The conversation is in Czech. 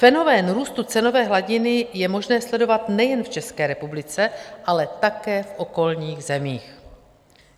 Fenomén růstu cenové hladiny je možné sledovat nejen v České republice, ale také v okolních zemích.